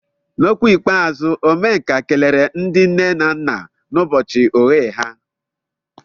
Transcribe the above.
N'okwu ikpeazụ, Omenka kelere ndị nne na nna n'ụbọchị oghe ha.